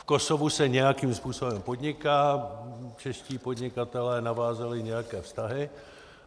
V Kosovu se nějakým způsobem podniká, čeští podnikatelé navázali nějaké vztahy.